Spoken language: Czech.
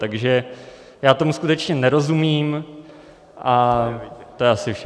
Takže já tomu skutečně nerozumím, a to je asi všechno.